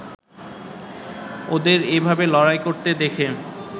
ওদের এভাবে লড়াই করতে দেখে